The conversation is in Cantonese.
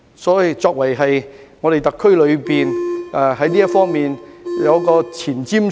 因此，我們特區應在這方面具有前瞻性。